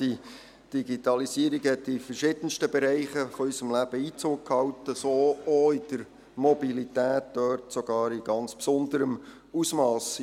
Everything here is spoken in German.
Die Digitalisierung hat in verschiedensten Bereichen unseres Lebens Einzug gehalten, so auch in der Mobilität, und dort sogar in ganz besonderem Ausmass.